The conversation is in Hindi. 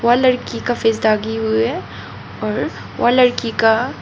और लड़की का फेस दागी हुई है और और लड़की का--